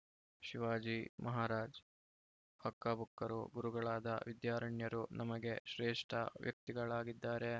ಶಿವಾಜಿ ಮಹಾರಾಜ್‌ ಹಕ್ಕಬುಕ್ಕರು ಗುರುಗಳಾದ ವಿದ್ಯಾರಣ್ಯರು ನಮಗೆ ಶ್ರೇಷ್ಠ ವ್ಯಕ್ತಿಗಳಾಗಿದ್ದಾರೆ